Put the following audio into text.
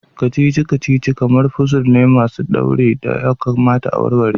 Kacici-kacici kamar puzul ne masu daure da ya kamata a warware.